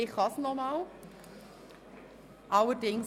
nun komme ich nochmals dazu.